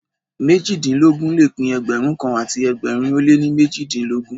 Méjìdínlógún le pín Ẹgbẹ̀rún kan àti ẹgbẹ̀rin ó lé méjìdínlógún.